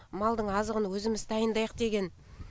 малдың азығын өзіміз дайындайық деген